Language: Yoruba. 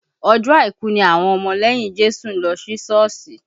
Ọjọ́ àìkú ni àwọn ọmọ lẹ́yìn Jésù ń lọ sí Sọ́ọ̀sì